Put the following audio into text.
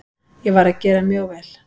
Ég var að gera mjög vel.